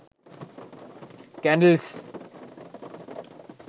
candles